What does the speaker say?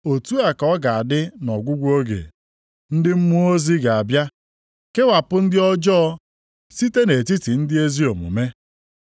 Otu a ka ọ ga-adị nʼọgwụgwụ oge. Ndị mmụọ ozi ga-abịa kewapụ ndị ọjọọ site nʼetiti ndị ezi omume,